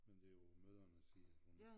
Men det er på mødrenes side hun